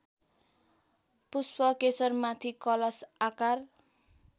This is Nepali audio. पुष्पकेशरमाथि कलश आकार